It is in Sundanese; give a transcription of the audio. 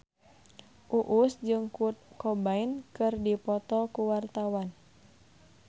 Uus jeung Kurt Cobain keur dipoto ku wartawan